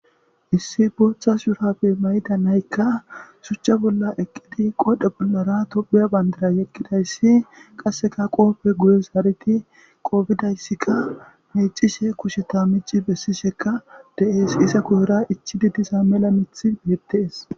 issi booththa shurabe mayda naykka shuchcha bolla eqqidi qoodhe bollara topiya bandira yegidayssi qasseka qoofe guye zaaridi qoofidayssika meecishe kusheta mici bessisheka de7ees iza guyera ichidi disa mela mithi beettees